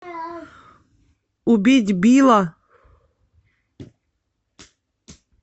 убить билла